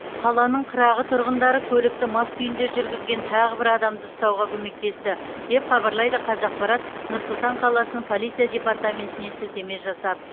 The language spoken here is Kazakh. қаланың қырағы түрғындары көлікті мас күйінде жүргізген тағы бір адамды ұстауға көмектесті деп хабарлайды қазақпарат нұр сұлтан қаласының полиция департаментіне сілтеме жасап